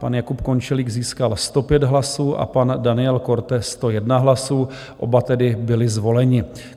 Pan Jakub Končelík získal 105 hlasů a pan Daniel Korte 101 hlasů, oba tedy byli zvoleni.